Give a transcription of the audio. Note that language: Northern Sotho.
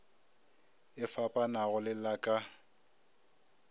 e fapanago le la ka